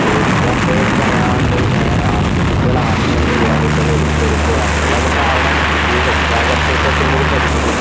വീട്ടുകാരോട് പറയാണ്ട് ഏ ആ കുട്ടികൾ ആത്മഹത്യ ചെയ്യുക കുട്ടികൾ ഒളിച്ചോടി പോവുക അതിനുള്ളയെല്ലാം കാരണം ഈ രക്ഷാകർതൃത്വത്തിന്റെ ഒരു പരിമിതിയാണ്